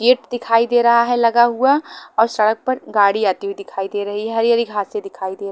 gate दिखाई दे रहा है लगा हुआ और सड़क पर गाड़ी आती हुई दिखाई दे रही है हरी हरी घासे दिखाई दे र --